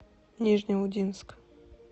нижнеудинск